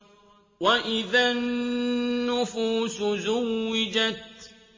وَإِذَا النُّفُوسُ زُوِّجَتْ